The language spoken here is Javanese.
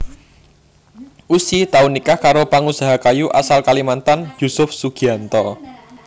Ussy tau nikah karo pangusaha kayu asal Kalimantan Yusuf Sugianto